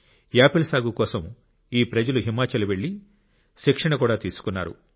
Apple సాగు కోసం ఈ ప్రజలు హిమాచల్ వెళ్ళి శిక్షణ కూడా తీసుకున్నారు